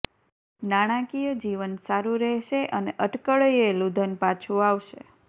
નાણાકીય જીવન સારું રહેશે અને અટકળયેલું ધન પાછો આવશે